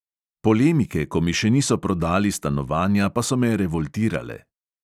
Polemike, ko mi še niso prodali stanovanja, pa so me revoltirale.